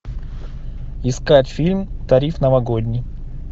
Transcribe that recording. искать фильм тариф новогодний